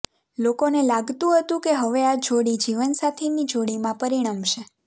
લોકોને લાગતુ હતુ કે હવે આ જોડી જીવનસાથીની જોડીમાં પરિણમશે